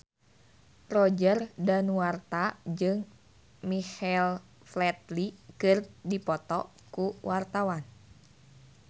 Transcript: Roger Danuarta jeung Michael Flatley keur dipoto ku wartawan